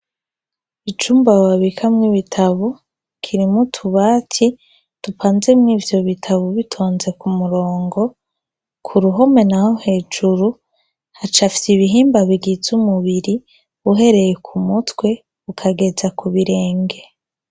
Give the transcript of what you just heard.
Icumba babikamwo ibitabo, kirimwo utubati dupanzemwo ivyo bitabo bitonze ku murongo. Ku ruhome naho hejuru hacafyeko ibihimba bigize umubiri, uhereye ku mutwe ukageza ku birenge.